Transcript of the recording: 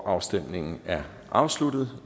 afstemningen er afsluttet